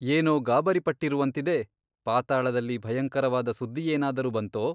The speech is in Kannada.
ಏನೋ ಗಾಬರಿಪಟ್ಟಿರುವಂತಿದೆ ಪಾತಾಳದಲ್ಲಿ ಭಯಂಕರವಾದ ಸುದ್ದಿಯೇನಾದರೂ ಬಂತೋ ?